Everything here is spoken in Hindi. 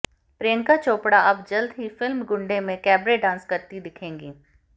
प्रिंयका चोपडा़ अब जल्द ही फिल्म गुंडे में कैबरे डांस करती दिखेंगी